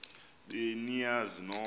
be niyazi nonk